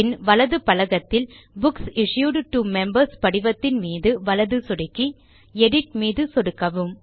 பின் வலது பலகத்தில் books issued to members படிவத்தின் மீது வலது சொடுக்கி பின் எடிட் மீது சொடுக்கவும்